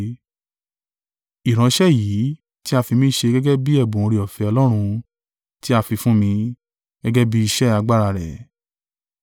Ìránṣẹ́ èyí tí a fi mi ṣe gẹ́gẹ́ bí ẹ̀bùn oore-ọ̀fẹ́ Ọlọ́run tí a fi fún mi, gẹ́gẹ́ bí iṣẹ́ agbára rẹ̀.